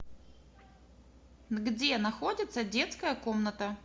где находится детская комната